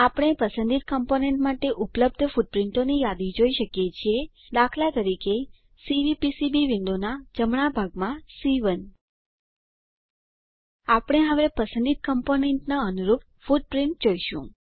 આપણે પસંદિત કમ્પોનન્ટ માટે ઉપલબ્ધ ફૂટપ્રીંટોની યાદી જોઈ શકીએ છીએ દાખલા તરીકે સીવીપીસીબી વિન્ડોનાં જમણા ભાગમાં સી1 આપણે હવે પસંદિત કમ્પોનન્ટનાં અનુરૂપ ફૂટપ્રીંટ જોઈશું